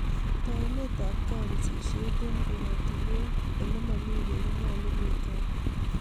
Taunet ab kapisishet eng koratinwek ole mami beek ko nyalu ketoy